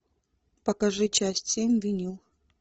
покажи часть семь винил